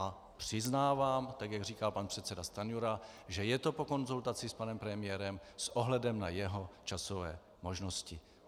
A přiznávám, tak jak říkal pan předseda Stanjura, že je to po konzultaci s panem premiérem s ohledem na jeho časové možnosti.